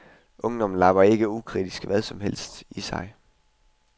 Ungdommen labber ikke ukritisk hvad som helst i sig.